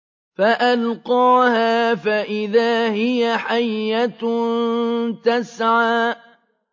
فَأَلْقَاهَا فَإِذَا هِيَ حَيَّةٌ تَسْعَىٰ